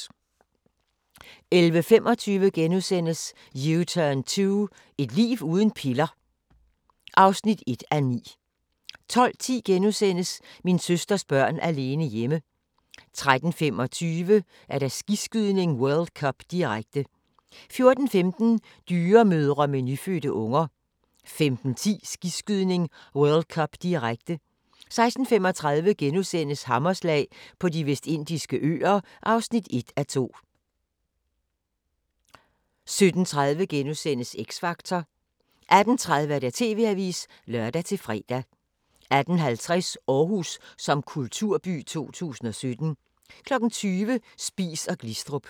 11:25: U-turn 2 – et liv uden piller (1:9)* 12:10: Min søsters børn alene hjemme * 13:25: Skiskydning: World Cup, direkte 14:15: Dyremødre med nyfødte unger 15:10: Skiskydning: World Cup, direkte 16:35: Hammerslag på De Vestindiske Øer (1:2)* 17:30: X Factor * 18:30: TV-avisen (lør-fre) 18:50: Aarhus som kulturby 2017 20:00: Spies & Glistrup